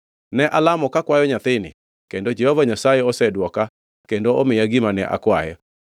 Ne alamo kakwayo nyathini kendo Jehova Nyasaye osedwoka kendo omiya gima ne akwaye.